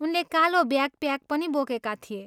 उनले कालो ब्याकप्याक पनि बोकेका थिए।